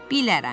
Bilərəm.